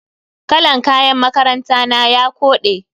Kalan kayan makaranta na ya kode.